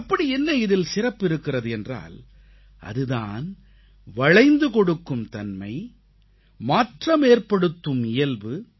அப்படியென்ன இதில் சிறப்பு இருக்கிறது என்றால் அது தான் வளைந்து கொடுக்கும்தன்மை மாற்றமேற்படுத்தும் இயல்பு